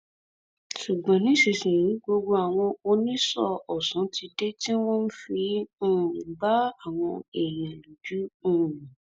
ṣùgbọn nísìnyìí gbogbo àwọn oníṣọọ ọsán ti dé tí wọn fi ń um gba àwọn èèyàn lójú um